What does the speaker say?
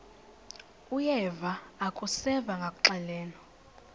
uyeva akuseva ngakuxelelwa